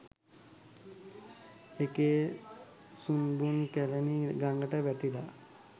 ඒකෙ සුන්බුන් කැලණි ගඟට වැටිලා .